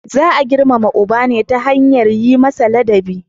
Za a girmama uba ne ta hanyar yi masa ladabi.